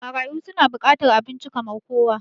Marayu su na bukatar abinci kamar kowa